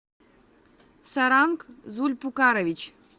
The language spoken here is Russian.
саранг зульпукарович